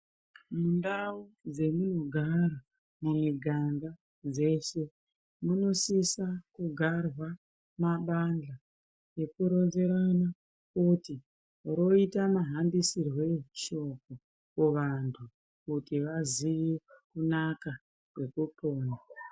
Mundau dzemunogara mumiganga dzeshe munosisa kugarwa mabandla ekuronzerana kuti roita mahambisirwei shoko kuvantu kuti vaziye kunaka kwekupona.